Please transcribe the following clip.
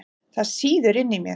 Það sýður inni í mér.